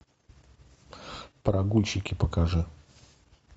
прогульщики покажи